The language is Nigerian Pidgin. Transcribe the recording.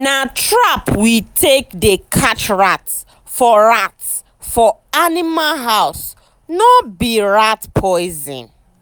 nobody dey use ordinary leg dey waka for inside milk animal house.